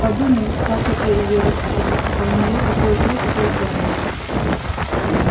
подумай как это её расстроит а у неё такое хрупкое здоровье